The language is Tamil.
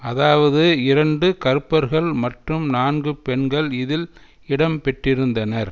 அதாவது இரண்டு கருப்பர்கள் மற்றும் நான்கு பெண்கள் இதில் இடம் பெற்றிருந்தனர்